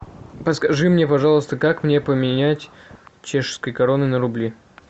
подскажи мне пожалуйста как мне поменять чешские кроны на рубли